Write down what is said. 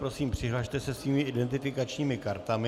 Prosím, přihlaste se svými identifikačními kartami.